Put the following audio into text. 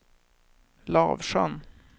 Lavsjön